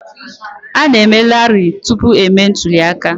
A na-eme rali tupu emee ntụli aka.